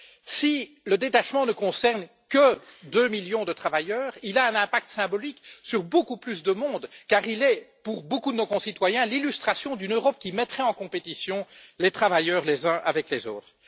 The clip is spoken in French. Si le détachement ne concerne que deux millions de travailleurs, il a un impact symbolique sur beaucoup plus de monde car il est, pour beaucoup de nos concitoyens, l'illustration d'une Europe qui mettrait en compétition les travailleurs les uns avec les autres.